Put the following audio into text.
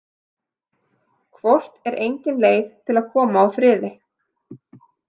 Hvort er engin leið til að koma á friði?